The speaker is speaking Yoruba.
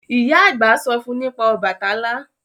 Ìyá àgbà sọ fún nípa Ọbàtálá